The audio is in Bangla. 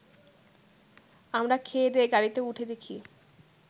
আমরা খেয়েদেয়ে গাড়িতে উঠে দেখি